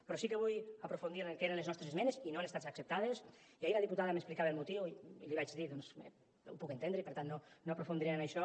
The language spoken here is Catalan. però sí que vull aprofundir en el que eren les nostres esmenes i no han estat acceptades i ahir la diputada m’explicava el motiu i li vaig dir doncs bé ho puc entendre i per tant no aprofundiré en això